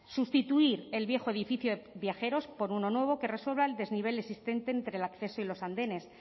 sustituir el viejo edificio de viajeros por uno nuevo que resuelva el desnivel existente entre el acceso y los andenes